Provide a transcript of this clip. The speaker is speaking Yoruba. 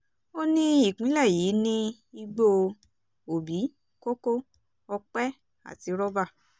ó ní ìpínlẹ̀ yìí ni igbó òbí kókó ọpẹ́ àti rọ́bà